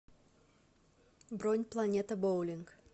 бронь планета боулинг